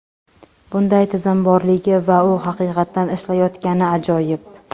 Bunday tizim borligi va u haqiqatdan ishlayotgani ajoyib!